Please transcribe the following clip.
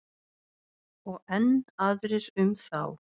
Og enn aðrir um þá.